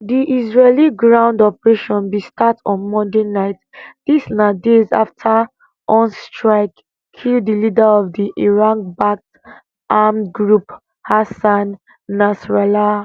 di israeli ground operation bin start start on monday night dis na days afta on strike kill di leader of di iranbacked armed group hassan nasrallah